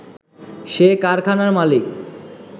সে কারখানার মালিক